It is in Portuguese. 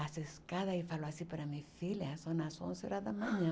as escadas, e falou assim para mim, filha, são as onze horas da manhã.